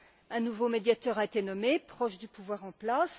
Un nouveau médiateur a été nommé, proche du pouvoir en place.